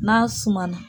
N'a suma na